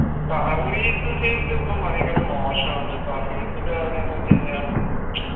service field ലു ഇപ്പൊ ഭയങ്കര മോശാണ് service കാര്യംന്ന് വെച്ചെയ്‌നാ